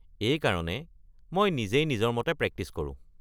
এইকাৰণে মই নিজেই নিজৰ মতে প্ৰেক্টিচ কৰোঁ।